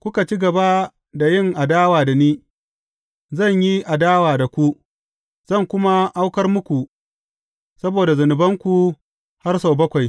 kuka ci gaba da yin adawa da ni, zan yi adawa da ku, zan kuma aukar muku saboda zunubanku har sau bakwai.